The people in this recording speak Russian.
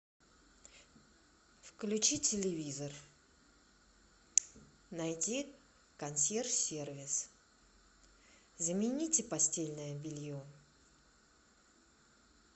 включи телевизор найди консьерж сервис замените постельное белье